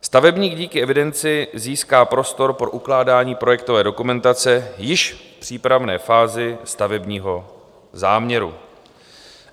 Stavebník díky evidenci získá prostor pro ukládání projektové dokumentace již v přípravné fázi stavebního záměru.